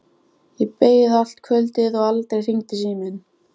Hún sér að Hemma helmingur í rúminu þeirra er óumbúinn.